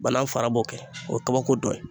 Banan fara b'o kɛ o ye kabako dɔ ye